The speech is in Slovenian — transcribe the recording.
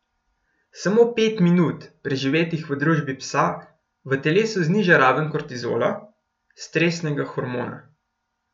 Samo pet minut, preživetih v družbi psa, v telesu zniža raven kortizola, stresnega hormona.